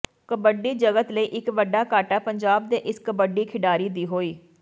ਕਬੱਡੀ ਜਗਤ ਲਈ ਇਕ ਵੱਡਾ ਘਾਟਾ ਪੰਜਾਬ ਦੇ ਇਸ ਕਬੱਡੀ ਖਿਡਾਰੀ ਦੀ ਹੋਈ